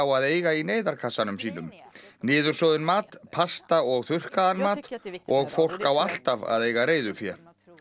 að eiga í neyðarkassanum sínum niðursoðinn mat pasta og þurrkaðaðan mat og fólk á alltaf að eiga reiðufé